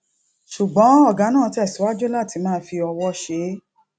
ṣùgbọn ògá náà tẹsíwájú láti máa fi ọwó ṣe é